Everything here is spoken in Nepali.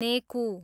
नेकु